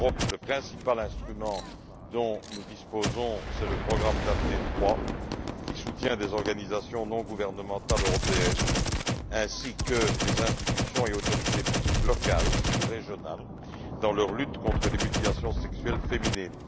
En Europe, le principal instrument dont nous disposons est le programme Daphné III qui soutient des organisations non gouvernementales européennes, ainsi que des institutions et autorités publiques locales ou régionales, dans leur lutte contre les mutilations sexuelles féminines.